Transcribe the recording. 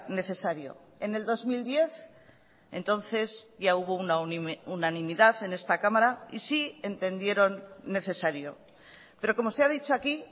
necesario en el dos mil diez entonces ya hubo una unanimidad en esta cámara y sí entendieron necesario pero como se ha dicho aquí